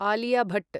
Alia Bhatt